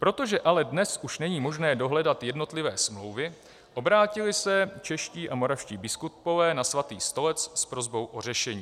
Protože ale dnes už není možné dohledat jednotlivé smlouvy, obrátili se čeští a moravští biskupové na Svatý stolec s prosbou o řešení.